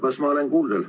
Kas ma olen kuuldel?